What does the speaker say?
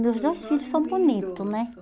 Meus dois filhos são bonitos, né?